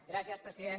gràcies president